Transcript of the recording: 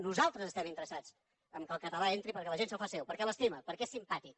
nosaltres estem interessats que el català entri perquè la gent se’l fa seu perquè l’estima perquè és simpàtic